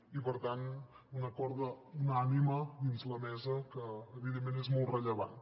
i per tant un acord unànime dins la mesa que evidentment és molt rellevant